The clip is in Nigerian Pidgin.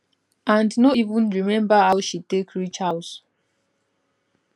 and no even remember how she take reach house